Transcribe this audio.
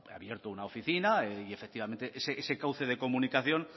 ha abierto una oficina y efectivamente es ese cauce de comunicación